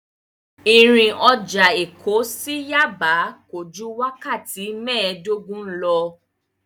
Ìrìn ọjà Èkó sí Yaba kò ju wákàtí mēẹ̀dógún lọ.